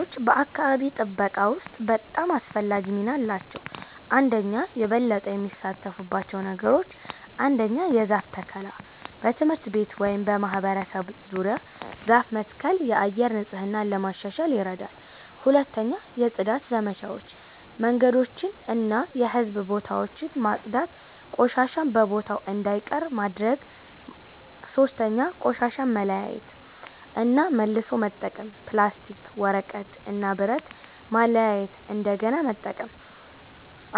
ወጣቶች በአካባቢ ጥበቃ ውስጥ በጣም አስፈላጊ ሚና አላቸው። 1)የበለጠ የሚሳተፉባቸው ነገሮች ? 1. የዛፍ ተከላ በትምህርት ቤት ወይም በማህበረሰብ ዙሪያ ዛፍ መትከል የአየር ንጽህና ለማሻሻል ይረዳል 2. የጽዳት ዘመቻዎች መንገዶችን እና የህዝብ ቦታዎችን ማጽዳት ቆሻሻ በቦታው እንዳይቀር ማድረግ ማድረግ 3. ቆሻሻ መለያየት እና መልሶ መጠቀም ፕላስቲክ፣ ወረቀት እና ብረት ማለያየት እንደገና መጠቀም